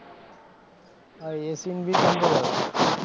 હા એ seen ભી ગમ્યો